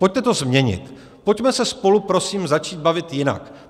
Pojďte to změnit, pojďme se spolu prosím začít bavit jinak.